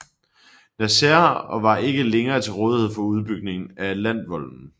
Nazaire og var ikke længere til rådighed for udbygningen af Atlantvolden